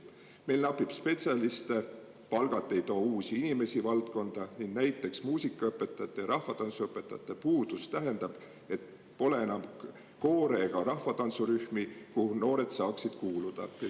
Meil napib spetsialiste, palgad ei too uusi inimesi valdkonda ning näiteks muusikaõpetajate ja rahvatantsuõpetajate puudus tähendab, et pole enam koore ega rahvatantsurühmi, kuhu noored saaksid kuuluda.